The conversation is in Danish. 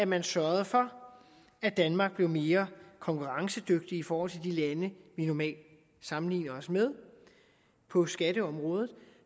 man sørge for at danmark blev mere konkurrencedygtigt i forhold til de lande vi normalt sammenligner os med på skatteområdet